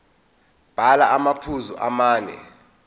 bhala amaphuzu amane